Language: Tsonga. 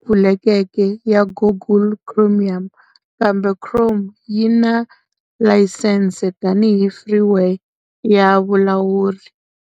pfulekeke ya Google Chromium, kambe Chrome yi na layisense tanihi freeware ya vulawuri.